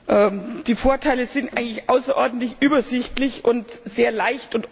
Die Vorteile sind eigentlich außerordentlich übersichtlich und sehr leicht erkennbar.